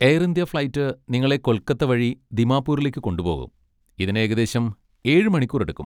Air India flight നിങ്ങളെ കൊൽക്കത്ത വഴി ദിമാപൂരിലേക്ക് കൊണ്ടുപോകും, ഇതിന് ഏകദേശം ഏഴ് മണിക്കൂർ എടുക്കും.